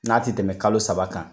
N'a ti tɛmɛ kalo saba kan